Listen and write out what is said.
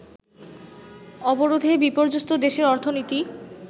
অবরোধে বিপর্যস্ত দেশের অর্থনীতি